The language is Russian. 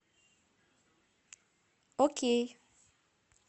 окей